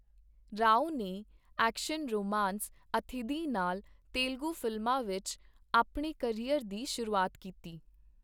ਰਾਓ ਨੇ action romance Athidhi ਨਾਲ ਤੇਲਗੂ ਫ਼ਿਲਮਾਂ ਵਿੱਚ ਆਪਣੇ ਕਰੀਅਰ ਦੀ ਸ਼ੁਰੂਆਤ ਕੀਤੀ।